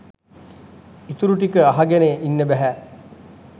ඉතුරු ටික අහගෙන ඉන්න බැහැ